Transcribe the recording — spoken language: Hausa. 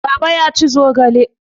Baba ya ci zogale.